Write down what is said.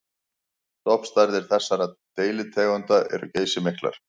Stofnstærðir þessara deilitegunda eru geysimiklar.